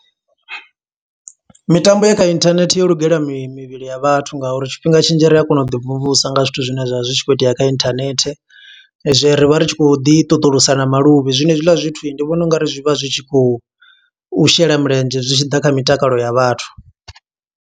Mitambo ya kha inthanethe yo lugela mi mivhili ya vhathu nga uri tshifhinga tshinzhi, ri a kona u ḓi mvumvusa nga zwithu zwine zwa vha zwi khou itea kha internet. Zwi ri vha ri tshi khou ḓi ṱuṱulusa na maluvhi, zwino he zwiḽa zwithu ndi vhona ungari zwi vha zwi tshi khou shela mulenzhe. Zwi tshi ḓa kha mitakalo ya vhathu.